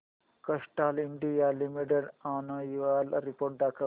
Castrol India limited annual report दाखव